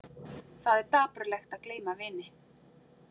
Það er dapurlegt að gleyma vini!